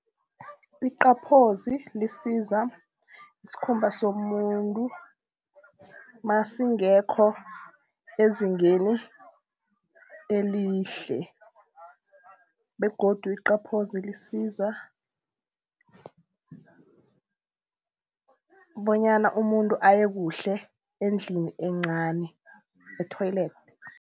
Iqaphozi lisiza isikhumba somuntu nasingekho ezingeni elihle begodu iqaphozi lisiza bonyana umuntu aye kuhle endlini encani e-toilet.